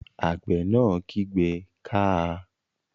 Àgbẹ̀ náà kígbe "káa!"